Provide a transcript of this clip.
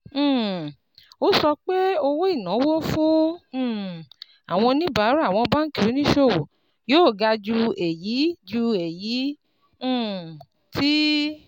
um Ó sọ pé owó ìnáwó fún um àwọn oníbàárà àwọn báńkì oníṣòwò yóò ga ju èyí ju èyí um tí